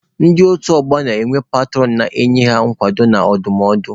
Ndị otu ọgbọ na-enwe petụrọn na-enye ha nkwado na ndụmọdụ.